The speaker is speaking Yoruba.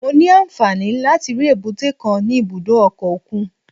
Mo ní àǹfààní láti rí èbúté kan ní ibùdó ọkọ̀ òkun